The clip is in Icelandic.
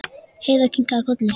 Heiða kinkaði kolli.